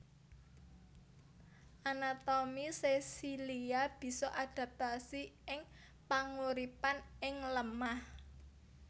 Anatomi sesilia bisa adaptasi ing panguripan ing lemah